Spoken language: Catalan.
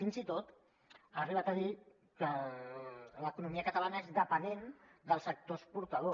fins i tot ha arribat a dir que l’economia catalana és dependent del sector exportador